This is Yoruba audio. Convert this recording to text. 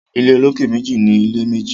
Ilé olókè méjì ní ilé méjì